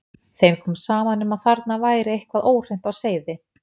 Þeim kom saman um að þarna væri eitthvað óhreint á seiði.